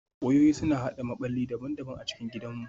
Wayoyi suna haɗa maɓalli daban-daban a cikin gidanmu